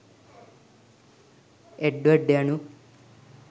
එඩ්වඩ් යනු